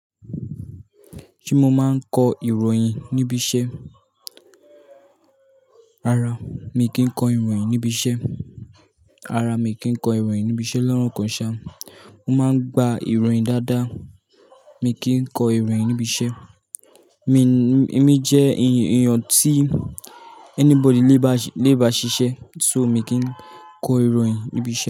Ṣé mo máa ń kọ ìròyìn níbi iṣẹ́? Rárá, mi kì í kọ ìròyìn níbi iṣẹ́. Rárá, mi kì í kọ ìròyìn níbi iṣẹ́, lọ́rọ̀ kan ṣá, mo máa ń gba ìròyìn dáadáa, mi kì í kọ ìròyìn níbi iṣẹ́. Mi, mi jẹ èèyàn tí anybody lè bá, lè bá ṣiṣẹ́, so mi kì í kọ ìròyìn níbi iṣẹ́